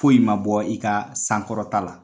Foyi' ma bɔ i ka sankɔrɔta la